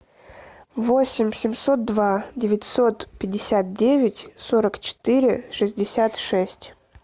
восемь семьсот два девятьсот пятьдесят девять сорок четыре шестьдесят шесть